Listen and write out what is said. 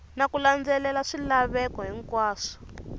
na ku landzelela swilaveko hinkwaswo